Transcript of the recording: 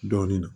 Dɔɔnin